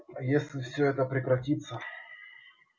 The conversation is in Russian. если все это прекратится